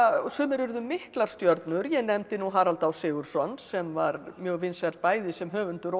sumir urðu miklar stjörnur ég nefndi nú Harald á Sigurðsson sem var mjög vinsæll bæði sem höfundur og